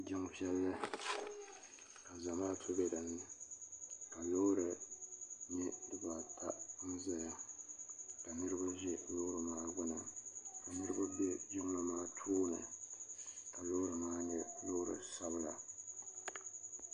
jin vili ka zamatu bɛ dini ka lori nyɛ be baata ʒɛya ka niriba ʒɛ lori maa gbani ka niriba bɛ jinli maa tuuni ka lori maa nyɛ lori sabila